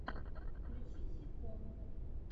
включи ситком